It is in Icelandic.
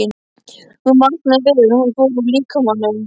Hún vaknaði við að hún fór úr líkamanum.